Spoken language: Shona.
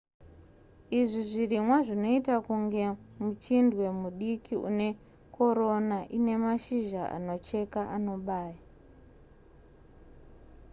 izvi zvirimwa zvinoita kunge muchindwe mudiki unekorona inemashizha anocheka anobaya